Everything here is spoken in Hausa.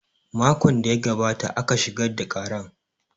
Makon da ya gabata aka shigar da karan